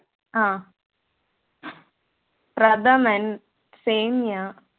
അഹ് പ്രഥമന്‍, സേമിയ